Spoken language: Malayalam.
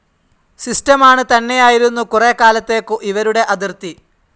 സിസ്റ്റമാണ് തന്നെയായിരുന്നു കുറേക്കാലതെക്കു ഇവരുടെ അതിർത്തി.